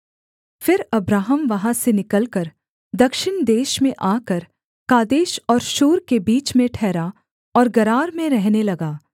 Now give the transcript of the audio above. फिर अब्राहम वहाँ से निकलकर दक्षिण देश में आकर कादेश और शूर के बीच में ठहरा और गरार में रहने लगा